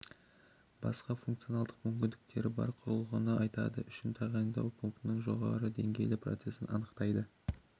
басқа функционалдық мүмкіндіктері бар құрылғыны атайды үшін тағайындау пунктінің жоғары деңгейлі процесін анықтайды